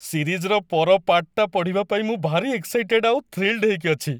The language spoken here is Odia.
ସିରିଜ୍‌ର ପର ପାର୍ଟ୍‌ଟା ପଢ଼ିବା ପାଇଁ ମୁଁ ଭାରି ଏକ୍‌ସାଇଟେଡ୍ ଆଉ ଥ୍ରୀଲ୍‌ଡ୍ ହେଇକି ଅଛି!